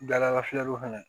Dala fiyɛliw fana